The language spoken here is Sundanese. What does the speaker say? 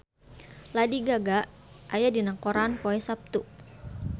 Lady Gaga aya dina koran poe Saptu